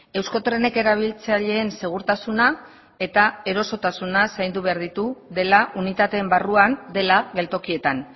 euskotrenek erabiltzaileen segurtasuna eta erosotasuna zaindu behar ditu dela unitateen barruan dela geltokietan